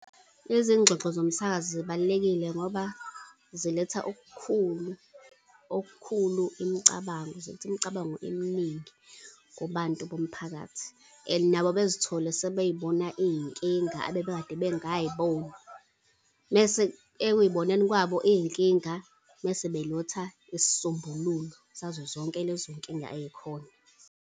Lezi zingxoxo zomsakazo zibalulekile ngoba ziletha okukhulu, okukhulu imicabango, ziletha imicabango eminingi kubantu bomphakathi. And nabo bezithole sebeyibona iy'nkinga ebebekade bengay'boni, mese ekuy'boneni kwabo iy'nkinga, mese beletha isisombululo sazo zonke lezo nkinga ey'khona.